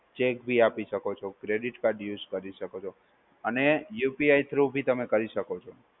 cheque ભી આપી શકો છો, credit card use કરી શકો છો અને UPIthrough ભી તમે કરી શકો છો.